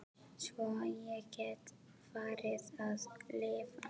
Svo ég gæti farið að lifa.